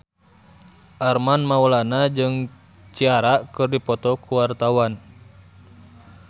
Armand Maulana jeung Ciara keur dipoto ku wartawan